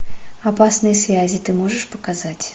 опасные связи ты можешь показать